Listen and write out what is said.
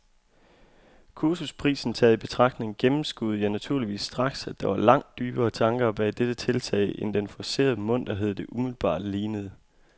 Kursusprisen taget i betragtning gennemskuede jeg naturligvis straks, at der var langt dybere tanker bag dette tiltag end den forcerede munterhed, det umiddelbart lignede.